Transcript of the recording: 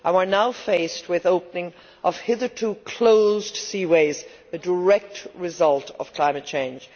We are now faced with the opening of hitherto closed seaways, a direct result of climate change.